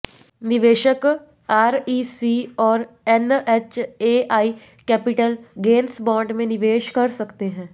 निवेशक आरईसी और एनएचएआई के कैपिटल गेंस बांड में निवेश कर सकते हैं